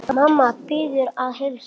Mamma biður að heilsa.